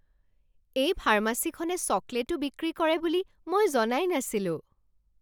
এই ফাৰ্মাচীখনে চকলেটো বিক্ৰী কৰে বুলি মই জনাই নাছিলোঁ!